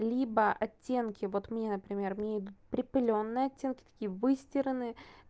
либо оттенки вот мне например мне идут припылённые оттенки такие выстиранные